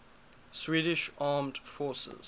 swedish armed forces